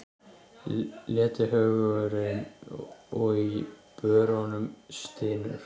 Letihaugurinn í börunum stynur.